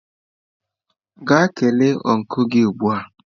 Gaa kelee ọncụl gị ugbu a!